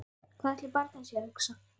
Hvað ætli barnið sé að hugsa?